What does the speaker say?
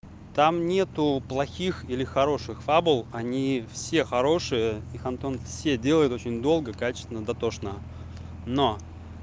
там нету плохих или хороших фабул они все хорошие их антон все делают очень долго качественно дотошно но